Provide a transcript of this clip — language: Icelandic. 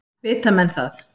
Vita menn það?